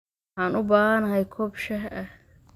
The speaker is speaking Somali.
Waxaan u baahanahay koob shaah ah